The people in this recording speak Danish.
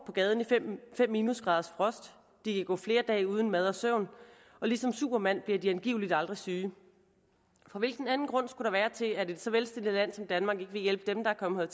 på gaden i fem minusgraders frost de kan gå flere dage uden mad og søvn og ligesom supermand bliver de angiveligt aldrig syge for hvilken anden grund skulle der være til at et så velstillet land som danmark ikke vil hjælpe dem der er kommet